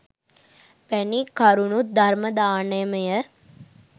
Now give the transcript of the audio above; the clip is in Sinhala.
වැනි කරුණුත් ධර්ම දානමය